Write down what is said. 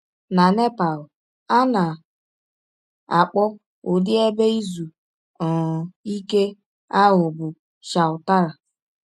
Na Nepal, a na - akpọ ụdị ebe izu um ike ahụ bụ chautara.